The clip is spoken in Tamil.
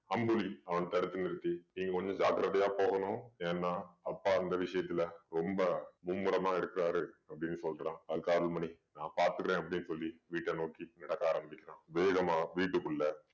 அம்புலி அவன் தடுத்து நிறுத்தி நீங்க கொஞ்சம் ஜாக்கிரதையா போகணும் ஏன்னா அப்பா அந்த விஷயத்துல ரொம்ப மும்முரமா இருக்குறாரு அப்படின்னு சொல்றான் அது அருள்மணி நான் பார்த்துக்கறேன் அப்படின்னு சொல்லி வீட்ட நோக்கி நடக்க ஆரம்பிக்கிறான் வேகமா வீட்டுக்குள்ள